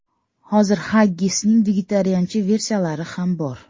Hozir xaggisning vegetariancha versiyalari ham bor.